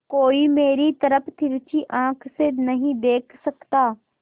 कोई मेरी तरफ तिरछी आँख से नहीं देख सकता